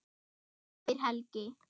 spyr Helgi.